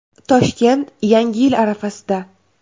Toshkent yangi yil arafasida.